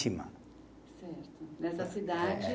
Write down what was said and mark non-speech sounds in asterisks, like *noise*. *unintelligible* Certo, nessa cidade. *unintelligible*